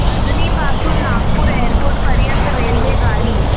अजनी पासून नागपूर एअरपोर्ट पर्यंत रेल्वेगाडी